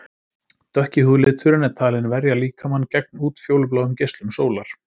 Dökki húðliturinn er talinn verja líkamann gegn útfjólubláum geislum sólar.